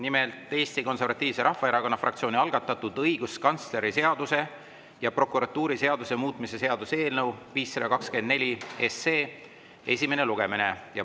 Nimelt, Eesti Konservatiivse Rahvaerakonna fraktsiooni algatatud õiguskantsleri seaduse ja prokuratuuriseaduse muutmise seaduse eelnõu 524 esimene lugemine.